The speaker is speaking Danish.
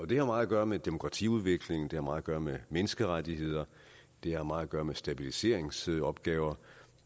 det har meget at gøre med demokratiudvikling det har meget at gøre med menneskerettigheder det har meget at gøre med stabiliseringsopgaver